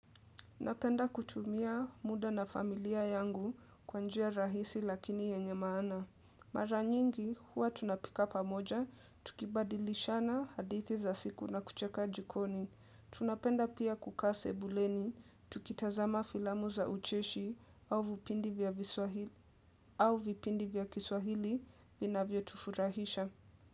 Napenda kutumia muda na familia yangu kwa njia rahisi lakini yenye maana. Mara nyingi huwa tunapika pamoja, tukibadilishana hadithi za siku na kucheka jikoni. Tunapenda pia kukaa sebuleni, tukitazama filamu za ucheshi au vipindi vya kiswahili vinavyotufurahisha.